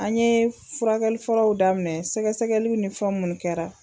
An ye furakɛli fɔlɔw daminɛ, sɛgɛsɛgɛliw ni fɔ munnu kɛra.